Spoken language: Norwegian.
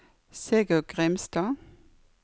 Sigurd Grimstad